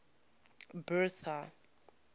bertha